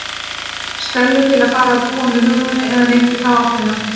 Stellu til að fara að búa með Hugrúnu, eða neitt í þá áttina.